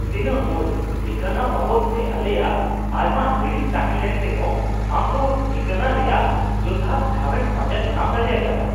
ᱛᱤᱱᱟᱹᱜ ᱢᱚᱸᱡ ! ᱴᱷᱤᱠᱟᱱᱟ ᱵᱟᱵᱚᱫᱛᱮ ᱟᱞᱮᱭᱟᱜ ᱟᱭᱢᱟ ᱦᱤᱬᱤᱡ ᱛᱟᱦᱮ ᱞᱮᱱ ᱨᱮᱦᱚ ᱟᱢ ᱫᱚ ᱴᱷᱤᱠᱟᱹᱱᱟ ᱨᱮᱭᱟᱜ ᱡᱚᱛᱷᱟᱛ ᱴᱷᱟᱣᱮᱢ ᱯᱟᱸᱡᱟ ᱧᱟᱢ ᱫᱟᱲᱮ ᱟᱠᱟᱫᱼᱟ ᱾